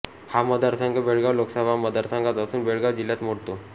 हा मतदारसंघ बेळगांव लोकसभा मतदारसंघात असून बेळगांव जिल्ह्यात मोडतो